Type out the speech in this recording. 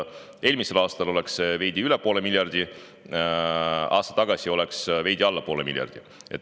Eelmisel aastal oleks see olnud veidi üle poole miljardi, aasta tagasi oleks olnud veidi alla poole miljardi.